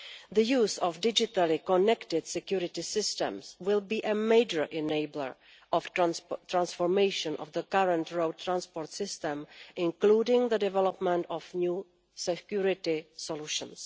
The use of digitally connected security systems will be a major enabler of the transformation of the current road transport system, including the development of new security solutions.